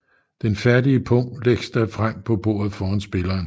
Den færdige pung lægges da frem på bordet foran spilleren